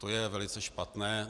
To je velice špatné.